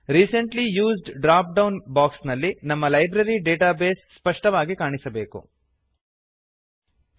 recently used drop down box ನಲ್ಲಿ ನಮ್ಮ library database ಸ್ಪಷ್ಟವಾಗಿ ಕಾಣಿಸಬೇಕು ಇರಬೇಕು